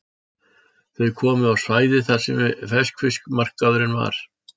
Þau komu á svæðið þar sem ferskfiskmarkaðurinn var.